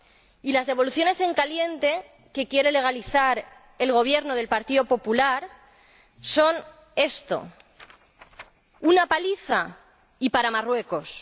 Y las devoluciones en caliente, que quiere legalizar el Gobierno del Partido Popular, son esto una paliza y para Marruecos.